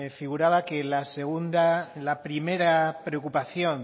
figuraba que la primera preocupación